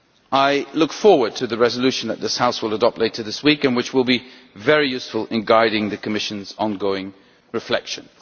I look forward to the resolution that this House will adopt later this week, which will be very useful in guiding the Commission's ongoing reflections.